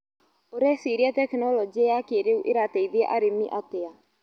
ũreciria tekinologĩ ya kĩrĩũ ĩrateithia arĩmi atia.